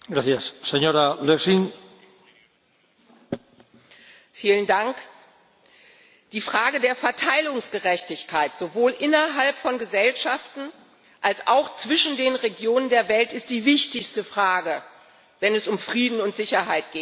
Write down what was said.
Herr Präsident! Die Frage der Verteilungsgerechtigkeit, sowohl innerhalb von Gesellschaften als auch zwischen den Regionen der Welt, ist die wichtigste Frage, wenn es um Frieden und Sicherheit geht.